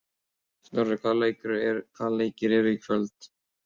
Snorri, hvaða leikir eru í kvöld?